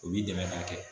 O b'i dɛmɛ k'a kɛ